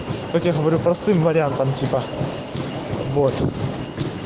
как я говорю простым вариантом типа вот